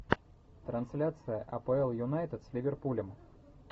трансляция апл юнайтед с ливерпулем